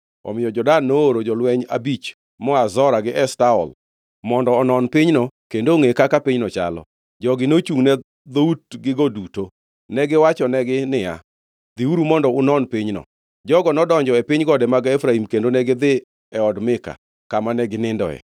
Omiyo jo-Dan nooro jolweny abich moa Zora gi Eshtaol mondo onon pinyno kendo ongʼe kaka pinyno chalo. Jogi nochungʼne dhout gigo duto. Negiwachonegi niya, “Dhiuru mondo unon pinyno.” Jogo nodonjo e piny gode mag Efraim kendo negidhi e od Mika, kama ne ginindoe.